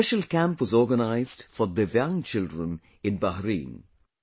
A special camp was organized for Divyang children in Bahrain